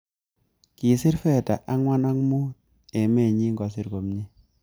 Kisir fedha angwan ang komut emet nyi kosir komnye